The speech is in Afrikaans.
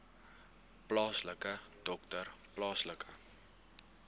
plaaslike dokter plaaslike